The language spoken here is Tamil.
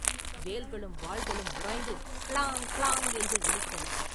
வேல்களும் வாள்களும் உராய்ந்து ‘கிளாங்’ ‘கிளாங்’ என்று ஒலித்தன.